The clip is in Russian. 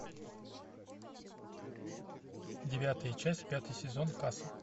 девятая часть пятый сезон касл